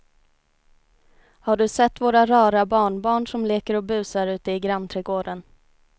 Har du sett våra rara barnbarn som leker och busar ute i grannträdgården!